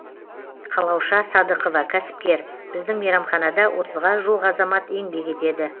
қалауша садықова кәсіпкер біздің мейрамханада отызға жуық азамат еңбек етеді